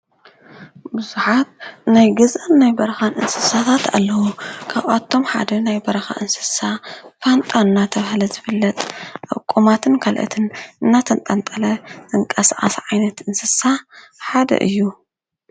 ቡዛሓት ናይ ገዛን ናይ በረኻን እንስሳታት ኣለዉ። ካባኣቶም ሓደ ናይ በረኻ እንስሳ ፋንጣ እናተባሃለ ዝፍለጥ ኣብ ቆማትን ካልኦትነን እናተንጠልጠለ ዝንቃሳቀሰ ዓይነት እንስሳ ሓደ እዩ።